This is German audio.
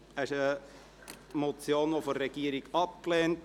Diese Motion wird von der Regierung abgelehnt.